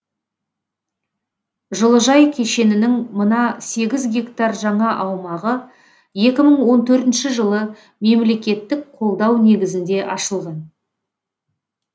жылыжай кешенінің мына сегіз гектар жаңа аумағы екі мың он төртінші жылы мемлекеттік қолдау негізінде ашылды